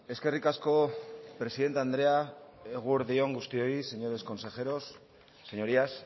eskerrik asko presidente andrea eguerdi on guztioi señores consejeros señorías